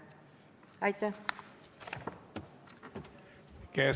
Aitäh!